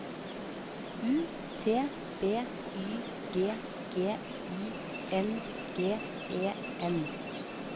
U T B Y G G I N G E N